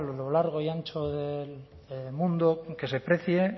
lo largo y ancho del mundo que se precie